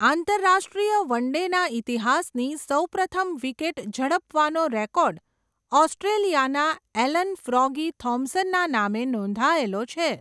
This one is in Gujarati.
આંતરરાષ્ટ્રીય વન ડેના ઇતિહાસની સૌપ્રથમ વિકેટ ઝડપવાનો રેકોર્ડ, ઓસ્ટ્રેલિયાના એલન ફ્રોગી થોમ્સનના નામે નોંધાયલો છે.